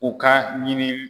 O ka ɲini